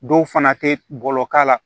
Dɔw fana tɛ bɔlɔlɔ k'a la